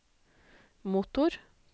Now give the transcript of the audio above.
motor